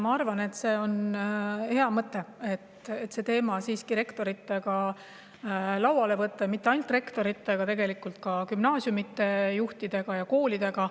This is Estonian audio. Ma arvan, et on hea mõte see teema rektoritega lauale võtta, ja mitte ainult rektoritega, vaid ka gümnaasiumide juhtidega ja koolidega.